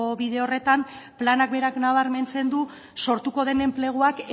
bide horretan planak berak nabarmentzen du sortuko den enpleguak